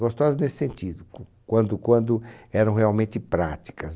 Gostosas nesse sentido, quando quando eram realmente práticas.